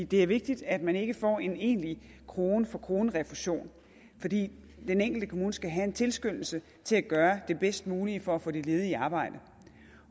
det er vigtigt at man ikke får en egentlig krone for krone refusion fordi den enkelte kommune skal have en tilskyndelse til at gøre det bedst mulige for at få de ledige i arbejde